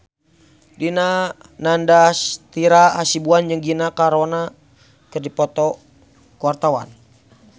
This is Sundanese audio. Dipa Nandastyra Hasibuan jeung Gina Carano keur dipoto ku wartawan